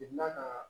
ka